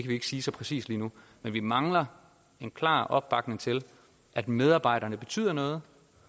ikke sige så præcist lige nu men vi mangler en klar opbakning til at medarbejderne betyder noget